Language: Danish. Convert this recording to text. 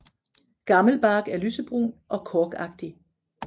Gammel bark er lysebrun og korkagtig